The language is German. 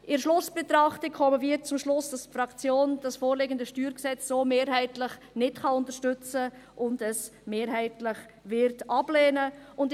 In der Schlussbetrachtung kommen wir zum Schluss, dass die Fraktion das vorliegende StG so mehrheitlich nicht unterstützen kann und es mehrheitlich ablehnen wird.